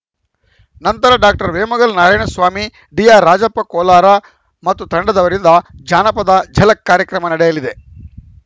ನಂತರ ಡಾಕ್ಟರ್ ವೇಮಗಲ್‌ ನಾರಾಯಣ ಸ್ವಾಮಿ ಡಿಆರ್‌ರಾಜಪ್ಪ ಕೋಲಾರ ಮತ್ತು ತಂಡದವರಿಂದ ಜನಪದ ಝಲಕ್‌ ಕಾರ್ಯಕ್ರಮ ನಡೆಯಲಿದೆ